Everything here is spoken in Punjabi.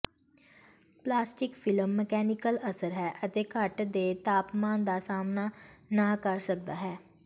ਪਲਾਸਟਿਕ ਫਿਲਮ ਮਕੈਨੀਕਲ ਅਸਰ ਹੈ ਅਤੇ ਘੱਟ ਦੇ ਤਾਪਮਾਨ ਦਾ ਸਾਮ੍ਹਣਾ ਨਾ ਕਰ ਸਕਦਾ ਹੈ